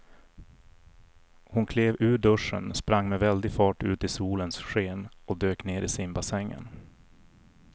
Hon klev ur duschen, sprang med väldig fart ut i solens sken och dök ner i simbassängen.